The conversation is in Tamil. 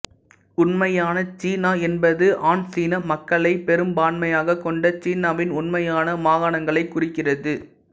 உண்மையான சீனா என்பது ஆன் சீன மக்களை பெரும்பான்மையாக கொண்ட சீனாவின் உண்மையான மாகாணங்களை குறிக்கிறது